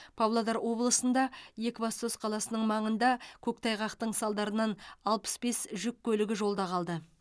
павлодар облысында екібастұз қаласының маңында көктайғақтың салдарынан алпыс бес жүк көлігі жолда қалды